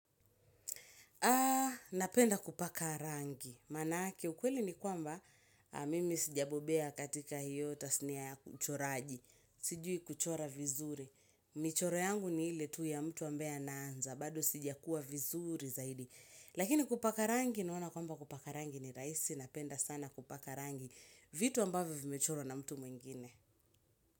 Ah, napenda kupaka rangi. Manake ukweli ni kwamba, mimi sijabobea katika hiyo tasnia ya uchoraji. Sijui kuchora vizuri. Michoro yangu ni ile tu ya mtu ambaye anaanza, bado sijakuwa vizuri zaidi. Lakini kupaka rangi naona kwamba kupaka rangi ni rahisi, napenda sana kupaka rangi. Vitu ambavyo vimechorwa na mtu mwingine.